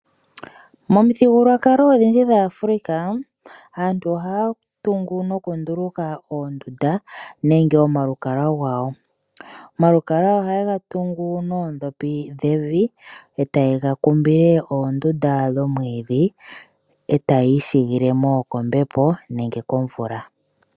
Momuthigululwakalo odhindji dhaa Africa aantu ohaya tungu noku nduluka oondunda nenge omalukalwa gawo. Omalukalwa ohayega tungu noondhopi dhevi eta yega kumbile oondunda dhomwiidhi etaya igamene kombepo nenge komvula.